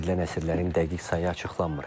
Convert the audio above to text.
Dəyişdirilən əsirlərin dəqiq sayı açıqlanmır.